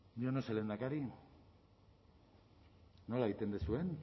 yo no sé lehendakari nola egiten duzuen